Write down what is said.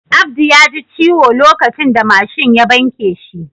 Abdu ya ji ciwo lokacin da mashin ya banke shi.